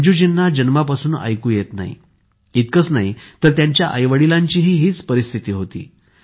मंजूजी यांना जन्मापासून ऐकू येत नाही इतकेच नाही तर त्यांच्या आईवडिलांचीही हीच परिस्थिती होती